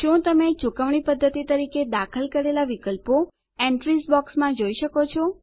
શું તમે ચૂકવણી પદ્ધતિ તરીકે દાખલ કરેલા વિકલ્પો એન્ટ્રીઝ બોક્સમાં જોઈ શકો છો